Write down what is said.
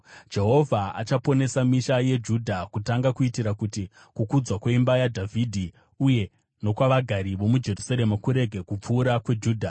“Jehovha achaponesa misha yeJudha kutanga, kuitira kuti kukudzwa kweimba yaDhavhidhi uye nokwavagari vomuJerusarema kurege kupfuura kweJudha.